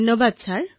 ধন্যবাদ মহোদয়